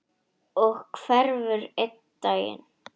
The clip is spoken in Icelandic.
Og hverfur einn daginn.